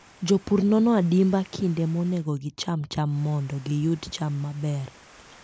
Jopur nono adimba kinde monego gicham cham mondo giyud cham maber.